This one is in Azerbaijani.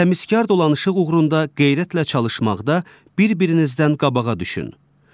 Təmizkar dolanışıq uğrunda qeyrətlə çalışmaqda bir-birinizdən qabağa düşün.